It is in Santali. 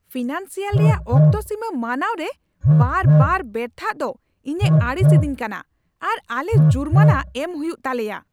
ᱯᱷᱤᱱᱟᱱᱥᱤᱭᱟᱞ ᱨᱮᱭᱟᱜ ᱚᱠᱛᱚ ᱥᱤᱢᱟᱹ ᱢᱟᱱᱟᱣ ᱨᱮ ᱵᱟᱨᱵᱟᱨ ᱵᱮᱨᱛᱷᱟᱜ ᱫᱚ ᱤᱧᱮ ᱟᱹᱲᱤᱥ ᱮᱫᱤᱧ ᱠᱟᱱᱟ ᱟᱨ ᱟᱞᱮ ᱡᱩᱨᱢᱟᱱᱟ ᱮᱢ ᱦᱩᱭᱩ ᱛᱟᱞᱮᱭᱟ ᱾